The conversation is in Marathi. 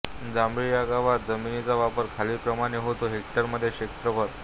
जांभळी ह्या गावात जमिनीचा वापर खालीलप्रमाणे होतो हेक्टरमध्ये क्षेत्रफळ